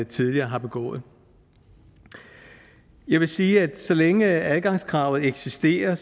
tidligere har begået jeg vil sige at så længe adgangskravet eksisterer